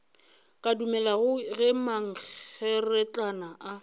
ka dumelago ge mankgeretlana a